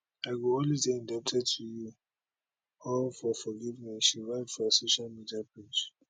i go always dey indebted to you all for forgiveness she write for her social media page